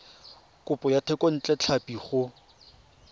kopo ya thekontle tlhapi go